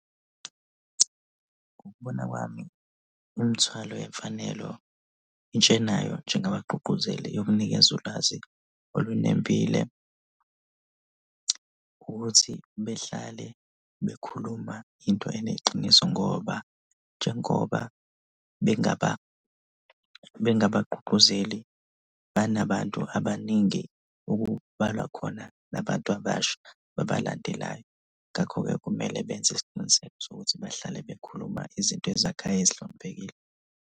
Ngokubona kwami, imithwalo yemfanelo intsha enayo njengabagqugquzeli yokunikeza ulwazi olunembile ukuthi behlale bekhuluma into eneqiniso ngoba njengoba bengabagqugquzeli, banabantu abaningi okubalwa khona nabantu abasha babalandelayo ngakho-ke kumele benze isiqiniseko sokuthi bahlale bekhuluma izinto ezakhayo ezihloniphekile.